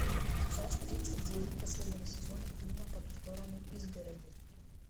часть тридцать девять последнего сезона фильма по ту сторону изгороди